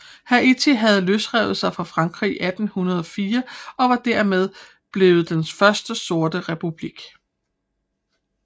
Haiti havde løsrevet sig fra Frankrig i 1804 og var dermed blevet den første sorte republik